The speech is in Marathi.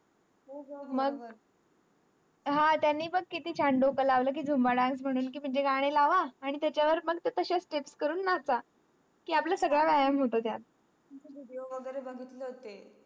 हो ग बरोबर हा तेंही बॅग कितीही छान डोकं लावला कि zumba dance म्हणून कि माझे गाणी लावा आणि त्याच्यावर पण ते करून नाच कि आपला सगळं व्यायाम होतो त्यात video वगैरे बघितले होते